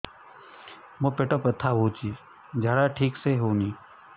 ମୋ ପେଟ ବଥା ହୋଉଛି ଝାଡା ଠିକ ସେ ହେଉନି